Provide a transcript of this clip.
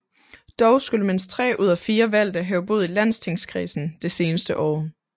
Dog skulle mindst 3 ud af 4 valgte have boet i landstingskredsen det seneste år